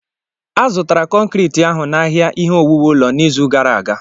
A zụtara konkriiti ahụ n'ahịa ihe owuwu ụlọ n'izu gara aga.